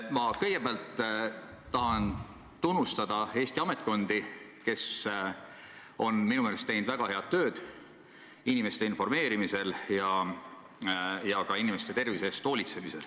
Ma kõigepealt tahan tunnustada Eesti ametkondi, kes on minu meelest teinud väga head tööd inimeste informeerimisel ja ka inimeste tervise eest hoolitsemisel.